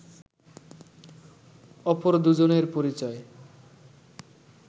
অপর দুজনের পরিচয়